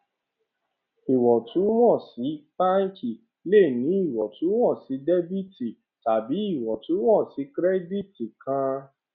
iwọntúnwọnsì báǹkì le ní iwọntúnwọnsì dẹbítí tàbí iwọntúnwọnsì kírẹdìtì kan